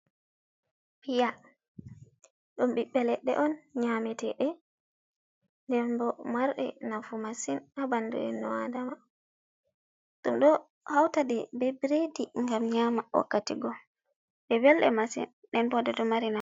Piya. Ɗum bibbe ledde on nyamitede. Ɗenbo marde nafu masin ha banɗu innu adama. Ɗum ɗo hautaɗe be biredi ngam nyama wakkati go ɗe velde masin den bo ɗedo mari a.